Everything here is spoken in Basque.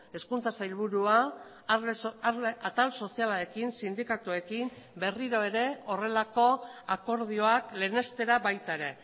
hezkuntza sailburua atal sozialarekin sindikatuekin berriro ere horrelako akordioak lehenestera baita ere